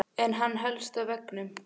En hann helst á veginum.